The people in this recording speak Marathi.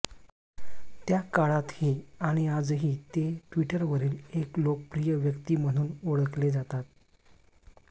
त्या काळातही आणि आजही ते ट्विटरवरील एक लोकप्रिय व्यक्ती म्हणून ओळखले जातात